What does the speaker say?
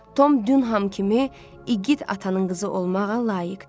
Tom Dunhan kimi igid atanın qızı olmağa layiqdir.